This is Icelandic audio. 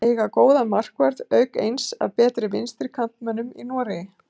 Eiga góðan markvörð auk eins af betri vinstri kantmönnunum í Noregi.